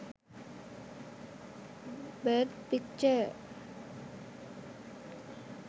birth picture